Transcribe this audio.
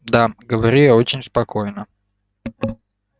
да говорю я очень спокойно